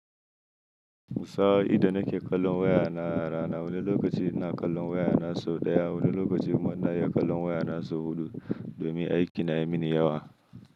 Sa'o'in da nake kallon wayana rana, wani lokaci ina kallon waya nasu ɗaya, wani lokaci munayi kallon waya na so huɗu domin aiki na yi mini yawa.